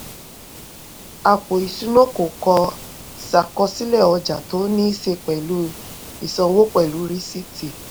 àpò ìṣúná kò kò ṣàkọsílẹ̀ ọjà tó ní í ṣe pẹ̀lú ìsanwó pẹ̀lú rìsíìtì.